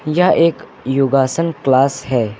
यह एक योगासन क्लास है।